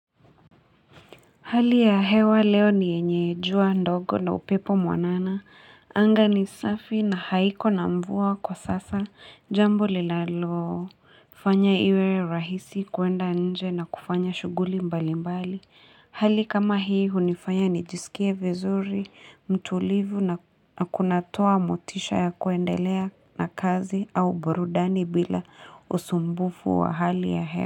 Hali ya hewa leo ni yenye jua ndogo na upepo mwanana. Anga ni safi na haiko na mvua kwa sasa jambo linalalo fanya iwe rahisi kuenda nje na kufanya shughuli mbali mbali. Hali kama hii hunifanya nijisikie vizuri, mtulivu na na kunatoa motisha ya kuendelea na kazi au burudani bila usumbufu wa hali ya he.